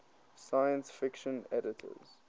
science fiction editors